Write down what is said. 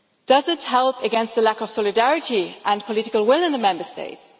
Does it help against the lack of solidarity and political will in the Member States?